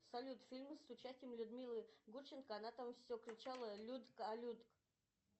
салют фильм с участием людмилы гурченко она там все кричала людк а людк